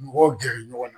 Mɔgɔw gɛrɛ ɲɔgɔn na